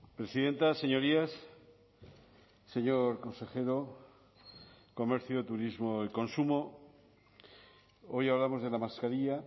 presidenta señorías señor consejero de comercio turismo y consumo hoy hablamos de la mascarilla